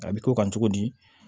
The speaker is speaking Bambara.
A bɛ k'o kan cogo di